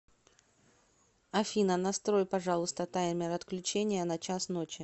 афина настрой пожалуйста таймер отключения на час ночи